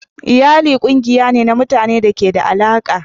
Iyali kungiyar ne na mutane da ke da alaƙa.